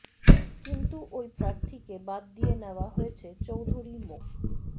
কিন্তু ওই প্রার্থীকে বাদ দিয়ে নেওয়া হয়েছে চৌধুরী মো